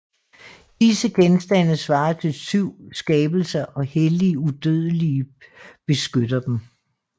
Disse genstande svarer til 7 skabelser og hellige udødelige beskytter dem